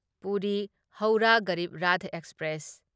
Puri Howrah Garib Rath express